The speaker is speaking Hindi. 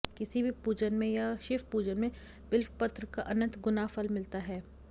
किसी भी पूजन में या शिव पूजन में बिल्वपत्र का अनंत गुना फल मिलता है